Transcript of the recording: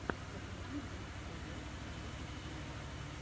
покажи бас тв на ютьюбе